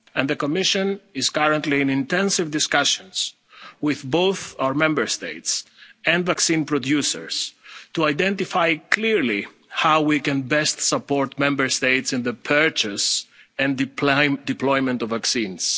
production. The Commission is currently in intensive discussions with both our Member States and vaccine producers to identify clearly how we can best support Member States in the purchase and deployment